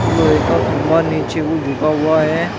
लोहे का खंभा नीचे को झुका हुआ है।